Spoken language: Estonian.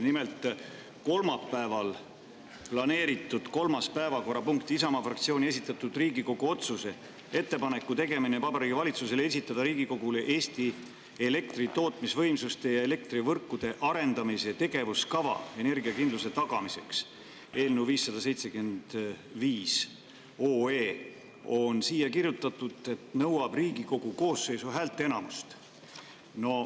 Nimelt, kolmapäevaks planeeritud kolmas päevakorrapunkt, Isamaa fraktsiooni esitatud Riigikogu otsuse "Ettepaneku tegemine Vabariigi Valitsusele esitada Riigikogule Eesti elektri tootmisvõimsuste ja elektrivõrkude arendamise tegevuskava energiakindluse tagamiseks" eelnõu 575 nõuab, nagu on siia kirjutatud, Riigikogu koosseisu häälteenamust.